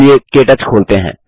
चलिए KTouch खोलते हैं